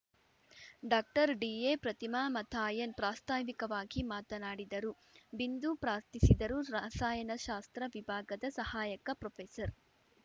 doctor D A Pratima Mathayan ಪ್ರಾಸ್ತಾವಿಕವಾಗಿ ಮಾತನಾಡಿದರು ಬಿಂದು ಪ್ರಾರ್ಥಿಸಿದರು ರಸಾಯನಶಾಸ್ತ್ರ ವಿಭಾಗದ ಸಹಾಯಕ ಪ್ರೊಫೆಸರ್